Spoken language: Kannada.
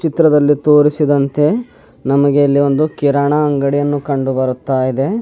ಚಿತ್ರದಲ್ಲಿ ತೋರಿಸಿದಂತೆ ನಮಗೆ ಇಲ್ಲಿ ಒಂದು ಕಿರಾಣ ಅಂಗಡಿಯನ್ನು ಕಂಡು ಬರ್ತಾ ಇದೆ.